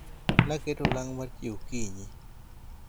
naketo olang' mar chiewo okinyi